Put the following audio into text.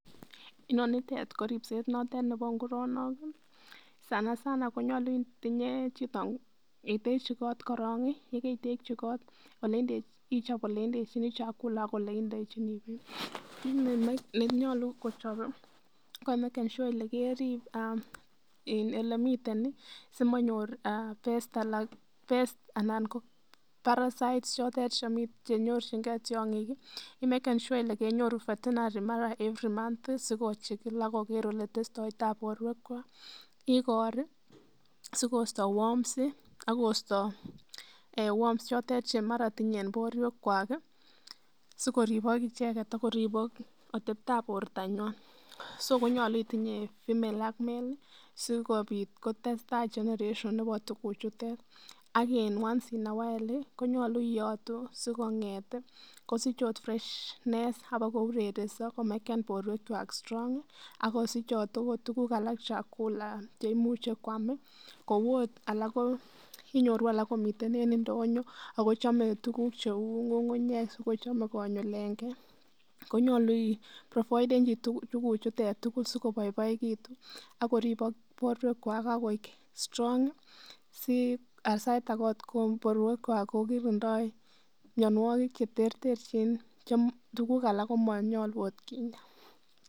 Inonitet ko ribset noton nepo nguronok sanasana ko nyolu itinye chito itekyi koot korong ii, ye keitekyi koot ichop ole indechinii [ chakula] ak ole indechinii beek ,kiit ne nyolu kochop ii ko imaken [sure]ile keriib elemiten simanyor [ pest]anan [ parasites] chotet che nyorchinkee tiong'ik imaken [ sure ] ile kenyoru [ veterinary]ara every month si kokeer ak kochikil ole testoi taa borwekwak ,igor ii si kosto worms ak kosto worms choton che mara tinye en borwekwak si koribok icheget ak koribok atebtab bortanywan ,so konyolu itinye female ak male si kobiit kotesetaa generation nepo tukuchuton ak en once in a while konyolu iyotuu si kong'et kosich akot freshness ak kobakourerenso ko maken borwekwak strong ak kosichot tukuk alak chakula che imuche kwam kou akot alak ko inyoru alak komiten en indonyo ako chome tukuk cheu ng'ung'unyek si kochome konyulenkee konyolu iprovidenchi tukuchuton tukul si koboiboekitun ak koribok borwekwak ak koik strong si sait ake korue ko kirindoi mionwokik che terterchin che tukuk alak ko monyolu akot kinya.